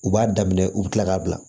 U b'a daminɛ u bi kila k'a bila